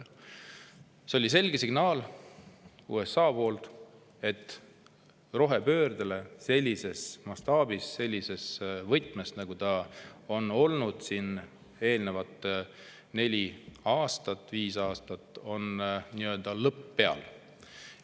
USA andis selge signaali: rohepöördel on sellises mastaabis, sellises võtmes, nagu see on olnud eelneval neljal-viiel aastal, lõpp peal.